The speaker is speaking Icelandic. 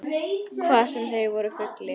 Hvað sem þeir voru fullir.